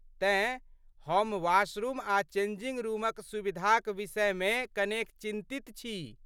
तेँ, हम वाशरूम आ चेंजिंग रूमक सुविधाक विषयमे कनेक चिन्तित छी।